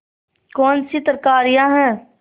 कौनसी तरकारियॉँ हैं